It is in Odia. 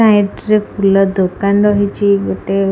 ସାଇଟ ରେ ଫୁଲ ଦୋକାନ ରହିଛି ଗୋଟେ।